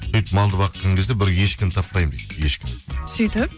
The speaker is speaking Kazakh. сөйтіп малды баққан кезде бір ешкіні таппаймын дейді ешкіні сөйтіп